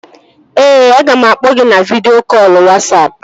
Ee, aga m akpọ gị na vidịo kọlụ Wasapụ